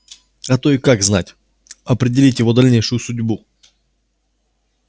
а то и как знать определить его дальнейшую судьбу